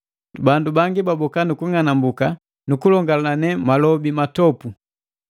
Bandu bangi baboka nu kung'anambuki nu kulongalane malobi matopu.